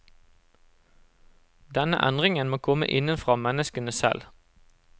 Denne endringen må komme innenfra menneskene selv.